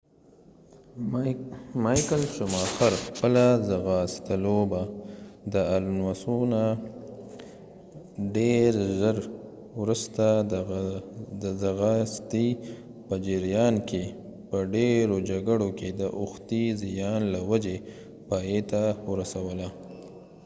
مایکل شماخر خپله ځغاستلوبه د الونوسو نه ډیر ژر وروسته د ځغاستې په جریان کې په ډیرو جګړو کې د اوښتي زیان له وجې پایته ورسوله